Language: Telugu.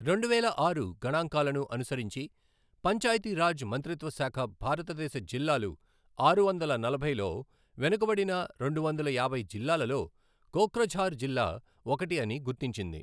రెండువేల ఆరు గణాంకాలను అనుసరించి పంచాయితీ రాజ్ మంత్రిత్వశాఖ భారతదేశ జిల్లాలు ఆరు వందల నలభైలో వెనుకబడిన రెండువందల యాభై జిల్లాలలో కోక్రఝార్ జిల్లా ఒకటి అని గుర్తించింది.